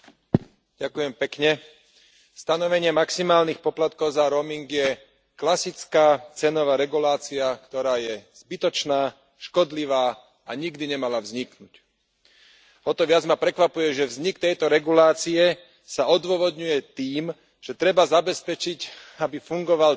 Vážená pani predsedajúca, stanovenie maximálnych poplatkov za roaming je klasická cenová regulácia, ktorá je zbytočná, škodlivá a nikdy nemala vzniknúť. O to viac ma prekvapuje, že vznik tejto regulácie sa odôvodňuje tým, že treba zabezpečiť, aby fungoval trh,